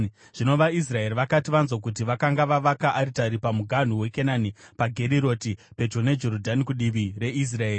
Zvino vaIsraeri vakati vanzwa kuti vakanga vavaka aritari pamuganhu weKenani paGeriroti pedyo neJorodhani kudivi reIsraeri,